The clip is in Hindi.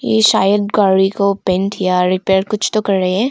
ये शायद गाड़ी को पेंट या रिपेयर कुछ तो कर रहे है।